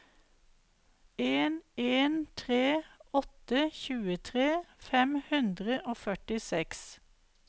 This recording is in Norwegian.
en en tre åtte tjuetre fem hundre og førtiseks